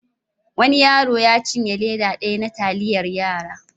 Wani yaro ya cinye leda daya na taliyar yara.